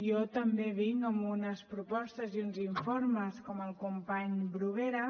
jo també vinc amb unes propostes i uns informes com el company bruguera